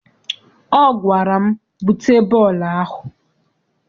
Ọ gwara m, bute bọọlụ ahụ!